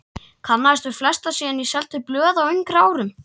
Kannaðist við flesta síðan ég seldi blöð á yngri árum.